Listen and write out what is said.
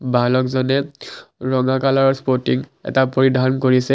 বালক জনে ৰঙা কালাৰৰ স্পটিং এটা পৰিধান কৰিছে।